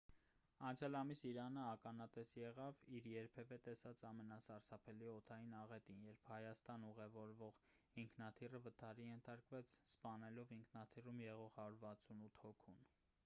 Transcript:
անցյալ ամիս իրանը ականատես եղավ իր երբևէ տեսած ամենասարսափելի օդային աղետին երբ հայաստան ուղևորվող ինքնաթիռը վթարի ենթարկվեց սպանելով ինքնաթիռում եղող 168 հոգուն